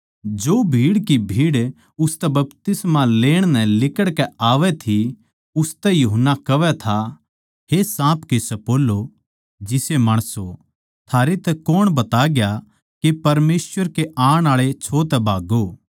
जो भीड़ की भीड़ उसतै बपतिस्मा लेण नै लिकड़ के आवै थी उनतै यूहन्ना कहवै था हे साँप के सप्पोलों जिसे माणसों थारै तै कौण बताग्या के परमेसवर के आण आळे छो तै भाग्गो